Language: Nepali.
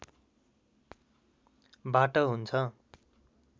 बाट हुन्छ